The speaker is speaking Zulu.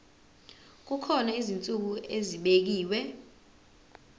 kukhona izinsuku ezibekiwe